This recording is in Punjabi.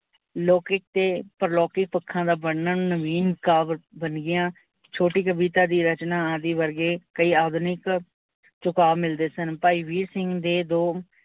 ਲੋਕੀਕ ਤੇ ਪ੍ਰਲੋਕੀਂ ਪੱਖਾਂ ਦਾ ਬਰਨਣ ਨਵੀਨ ਕਾਬਿਲ ਬਨ ਗਿਆ ਛੋਟੀ ਕਵਿਤਾ ਰਚਨਾਂ ਆਦਿ ਵਰਗੇ ਕਈ ਆਧੁਨਿਕ ਝੁੱਕਾ ਮਿਲਦੇ ਸਨ। ਭਾਈ ਵੀਰ ਸਿੰਘ ਦੇ ਦੋ